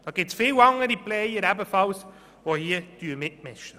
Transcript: Es gibt viele andere Player, die ebenfalls mitspielen.